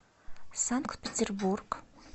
санкт петербург